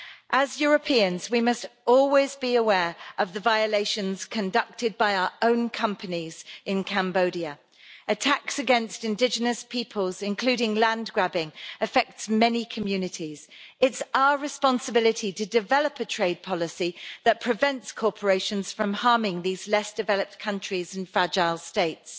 As Europeans, we must always be aware of the violations conducted by our own companies in Cambodia. Attacks against indigenous peoples, including land grabbing, affect many communities. It's our responsibility to develop a trade policy that prevents corporations from harming these less developed countries and fragile states.